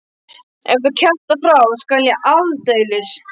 Ef þú kjaftar frá skal ég aldeilis.